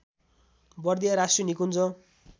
बर्दिया राष्ट्रिय निकुञ्ज